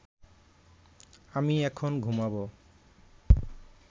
আমি এখন ঘুমাব